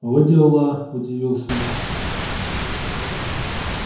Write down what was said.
во дела удивился он